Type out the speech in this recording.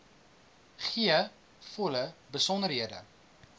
gee volle besonderhede